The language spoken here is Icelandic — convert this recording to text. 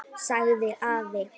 sagði afi.